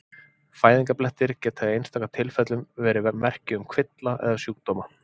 Fæðingarblettir geta í einstaka tilfellum verið merki um kvilla eða sjúkdóma.